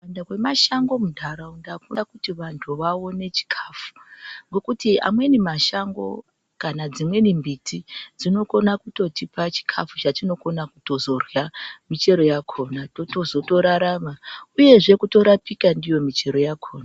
Wanda kwemashango muntaraunta ita kuti vantu vaone chikafu ngekuti amweni mashango kana dzimweni miti dzi okona kutotipa chikafu chatinokona kutorya muchero yakhona tozotorarama uyezve kutorapika ndiyo muchero yakhona.